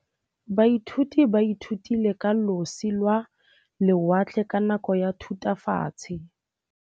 Baithuti ba ithutile ka losi lwa lewatle ka nako ya Thutafatshe.